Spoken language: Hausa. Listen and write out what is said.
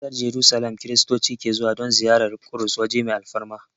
Ƙasar Jarusalim Kiristoci ke zuwa don ziyarar Ƙudus waje mai alfarma